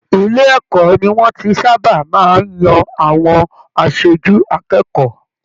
Ilé ẹ̀kọ́ ní wọn tí sábà máa n yan àwọn aṣojú akẹ́kọ̀ọ́.